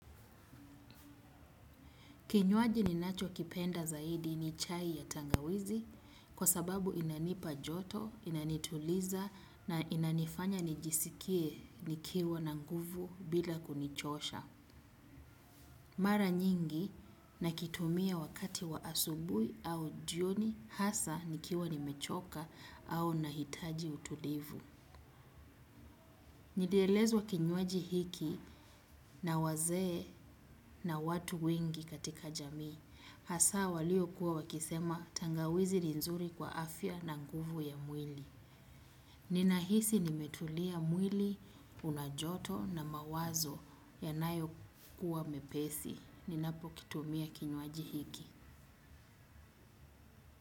Kinywaji ninachokipenda zaidi ni chai ya tangawizi kwa sababu inanipa joto, inanituliza na inanifanya nijisikie nikiwa na nguvu bila kunichosha. Mara nyingi nakitumia wakati wa asubuhi au jioni hasa nikiwa nimechoka au nahitaji utulivu. Nilielezwa kinywaji hiki na wazee na watu wengi katika jamii. Hasa waliokuwa wakisema tangawizi ni nzuri kwa afya na nguvu ya mwili. Ninahisi nimetulia mwili una joto na mawazo yanayokuwa mepesi. Ninapokitumia kinywaji hiki.